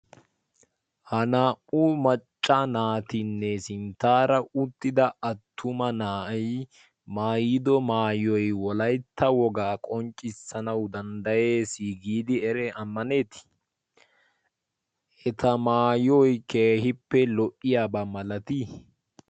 ha naa77u macca naatinne sinttaara uttida attuma naa7i maayido maayoi wolaitta wogaa qonccissanau danddayees giidi ere ammaneeti.i eta maayoi keehippe lo77iyaabaa malatii ?